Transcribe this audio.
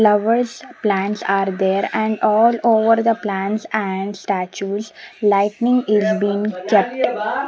Lovers plants are there and all over the plants and statues lightning is been kept.